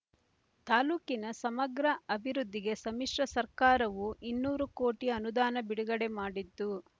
ತಾಲ್ಲೂಕಿನ ಸಮಗ್ರ ಅಭಿವೃದ್ಧಿಗೆ ಸಮ್ಮಿಶ್ರ ಸರ್ಕಾರವೂ ಇನ್ನೂರು ಕೋಟಿ ಅನುದಾನ ಬಿಡುಗಡೆ ಮಾಡಿದ್ದು